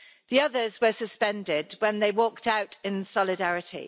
The others were suspended when they walked out in solidarity.